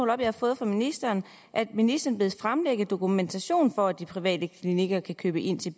jeg har fået fra ministeren at ministeren bedes fremlægge dokumentation for at de private klinikker kan købe ind til